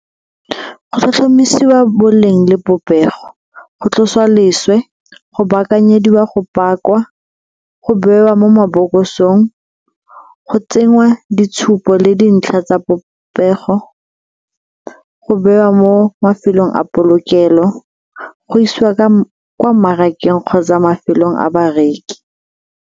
Gp tlhomamisiwa boleng le popego, go tlosiwa leswe, go baakanyediwa go paka, go bewa mo mabokosong, go tsenngwa ditshupo le dintlha tsa popego, go bewa mo mafelong a polokelo, go isiwa kwa mmarakeng kgotsa mafelong a bareki.